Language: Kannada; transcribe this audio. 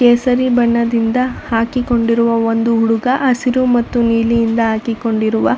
ಕೇಸರಿ ಬಣ್ಣದಿಂದ ಹಾಕಿ ಕೊಂಡಿರುವ ಒಂದು ಹುಡುಗ ಹಸಿರು ಮತ್ತು ನೀಲಿಯಿಂದ ಹಾಕಿ ಕೊಂಡಿರುವ --